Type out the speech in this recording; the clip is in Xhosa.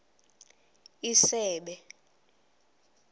isebe